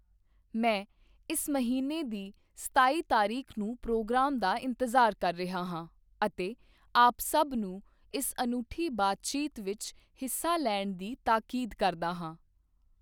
ਮੈਂ ਇਸ ਮਹੀਨੇ ਦੀ ਸਤਾਈ ਤਾਰੀਖ ਨੂੰ ਪ੍ਰੋਗਰਾਮ ਦਾ ਇੰਤਜ਼ਾਰ ਕਰ ਰਿਹਾ ਹਾਂ ਅਤੇ ਆਪ ਸਭ ਨੂੰ ਇਸ ਅਨੂਠੀ ਬਾਤਚੀਤ ਵਿੱਚ ਹਿੱਸਾ ਲੈਣ ਦੀ ਤਾਕੀਦ ਕਰਦਾ ਹਾਂ।